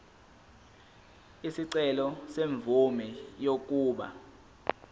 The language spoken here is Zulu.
isicelo semvume yokuba